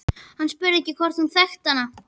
Hann spurði hvort hún þekkti hana.